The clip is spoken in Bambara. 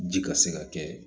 Ji ka se ka kɛ